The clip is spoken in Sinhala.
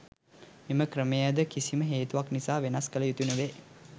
මෙම ක්‍රමයද කිසිම හේතුවක් නිසා වෙනස් කල යුතු නොවේ.